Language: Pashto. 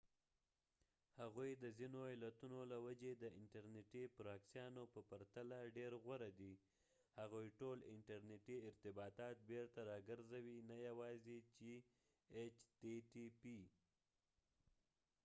هغوی د ځینو علتونو له وجې د انترنیتي پراکسیانو په پرتله ډیر غوره دي هغوی ټول انټرنیټي ارتباطات بیرته راګرځوي نه یواځې چې ایچ تی تی پي